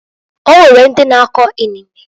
Onwere ndi na-ako inene.